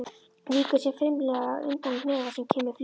Víkur sér fimlega undan hnefa sem kemur fljúgandi.